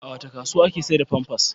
A wace kasuwa ake sayar da famfas?